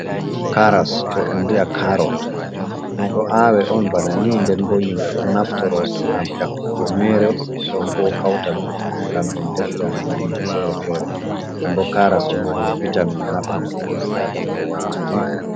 Carrots woɓɓe bi'a carrot ɗum ɗo awe on bana ni nden bo himɓe ɗon naftoro ɗum ngam yakkugo mere be ɗon bo kautaɗum ngam ɓe defra nyamdu fere-fere den bo carrots ɗon mari vitamin ha ɓandu ɓi adama wane.